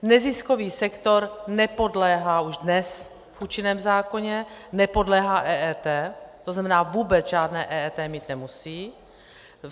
Neziskový sektor nepodléhá už dnes v účinném zákoně, nepodléhá EET, to znamená, vůbec žádné EET mít nemusí.